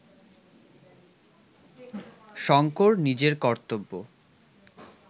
শঙ্কর নিজের কর্তব্য